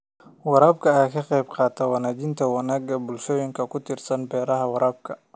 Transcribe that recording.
Waraabka ayaa ka qayb qaata wanaajinta wanaagga bulshooyinka ku tiirsan beeraha waraabka.